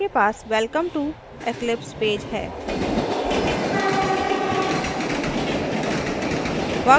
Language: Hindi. आपके पास welcome to eclipse पेज है